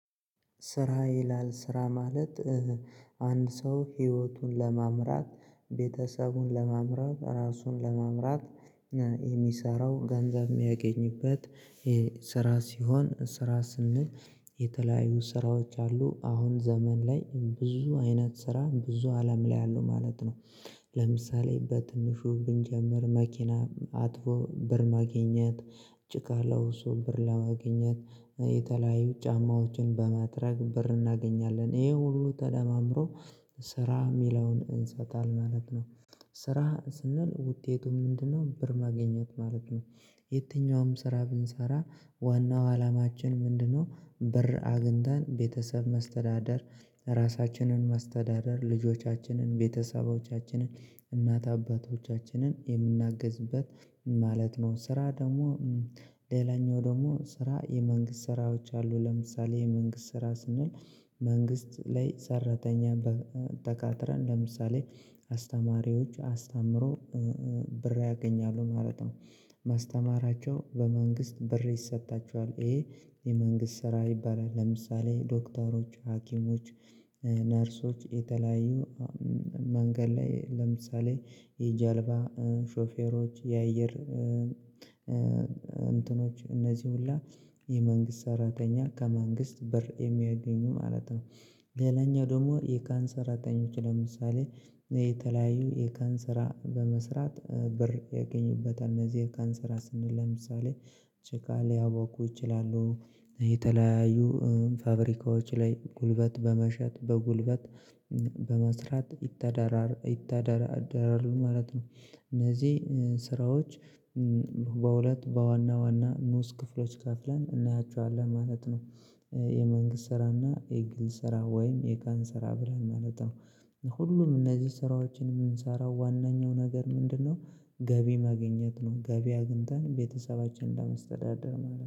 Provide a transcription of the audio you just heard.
ስራ ይላል ስራ ማለት። አንድ ሰው ህይወቱን ለማምራት ቤተሰቡን ለማምራት ራሱን ለማምራት የሚሰራው ገንዘብ የሚያገኝበት ስራ ሲሆን ስራ ስንል የተለያዩ ስራዎች አሉ አሁን ዘመን ላይ ብዙ አይነት ስራ ብዙ አለም ላይ አለው ማለት ነው። ለምሳሌ በትንሹ ብንጀምር መኪና አጥቦ ብር ማግኘት ጭቃ ለውሶ ብር ለማግኘት የተለያዩ ጫማዎችን በማጥረግ ብር እናገኛለን ይሄ ሁሉ ተደማምሮ ስራ የሚለውን እንሰጣለን ማለት ነው። ስራ ስንል ውጤቱም ምንድነው ብር ማገኘት ማለት ነው። የትኛውም ስራ ብንሰራ ዋናው አላማችን ምንድነው ብር አግኝታን ቤተሰብ ማስተዳደር ራሳችንን መስተዳደር ልጆቻችንን ቤተሰቦቻችንን እናት አባቶቻችንን የምናግዝበት ማለት ነው። ስራ ደግሞ ሌላኛው ደግሞ ስራ የመንግስት ስራዎች አሉ ለምሳሌ የመንግስት ስራ ስንል መንግስት ላይ ሰራተኛ ተቃጥረን ለምሳሌ አስተማሪዎች አስታምሮ ብር ያገኛሉ ማለት ነው። ማስተማራቸው በመንግስት ብር ይሰጣቸዋል ይሄ የመንግስት ስራ ይባላል ለምሳሌ ዶክተሮች ሀኪሞች ነርሶች የተለያዩ መንገድ ላይ ለምሳሌ የጀልባ ሾፌሮች የአየር እንትኖች እነዚህ ሁላ የመንግስት ሰራተኛ ከመንግስት ብር የሚያገኙ ማለት ነው። ሌላኛው ደግሞ የቀን ሰራተኞች ለምሳሌ የተለያዩ የቀን ሰራ በመስራት ብር ያገኙበት እነዚህ ቀን ሰራ ስንል ለምሳሌ ጭቃ ሊያወቁ ይችላሉ የተለያዩ ፋብሪካዎች ላይ ጉልበት በመሸጥ በጉልበት በመስራት ይተዳደራል ማለት ነው። እነዚህ ስራዎች በሁለት በዋና ዋና ኑስ ክፍሎች ከፍለን እናያችኋለን ማለት ነው። የመንግስት ስራና የግል ስራ ወይም የቀን ስራ ብለን ማለት ነው። ሁሉም እነዚህ ስራዎችን የምንሰራው ዋናኛው ነገር ምንድነው? ገቢ መገኘት ነው ገቢ አግኝተን ቤተሰባችንን ለመስተዳደር ማለት ነው